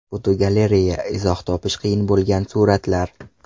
Fotogalereya: Izoh topish qiyin bo‘lgan suratlar.